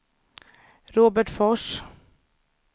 Robertsfors